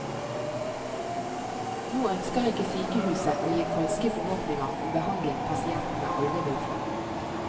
Nå ønsker ikke sykehuset å gi falske forhåpninger om behandling pasientene aldri vil få.